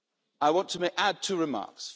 I want to make add two remarks.